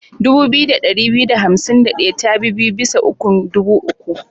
Dubu biyu da ɗari biyu da hansim da ɗaya tabi biyu bisa ukun dubu uku.